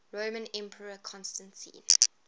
roman emperor constantine